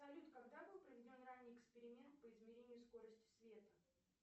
салют когда был проведен ранний эксперимент по измерению скорости света